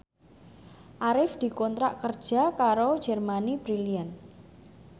Arif dikontrak kerja karo Germany Brilliant